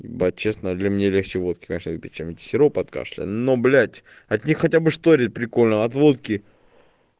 ебать честно ли мне легче водки начали пить сироп от кашля ну блять от них хотя бы шторить прикольно а от водки